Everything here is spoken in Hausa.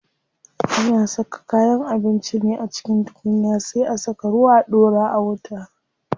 Ana saka kayan abinci ne a cikin tukunya sai a saka ruwa a ɗora a wuta.